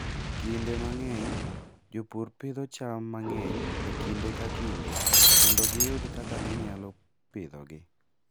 Kinde mang'eny, jopur pidho cham mang'eny e kinde ka kinde mondo giyud kaka ginyalo pidhogi.